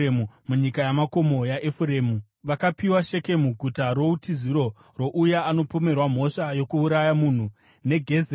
Munyika yamakomo yaEfuremu vakapiwa Shekemu (guta routiziro rouya anopomerwa mhosva yokuuraya munhu) neGezeri,